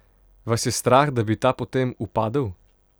Vas je strah, da bi ta potem upadel?